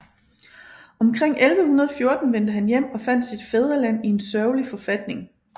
Omkring 1114 vendte han hjem og fandt sit fædreland i en sørgelig forfatning